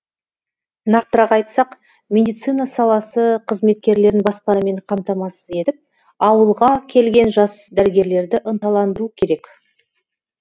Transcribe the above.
нақтырақ айтсақ медицина саласы қызметкерлерін баспанамен қамтамасыз етіп ауылға келген жас дәрігерлерді ынталандыру керек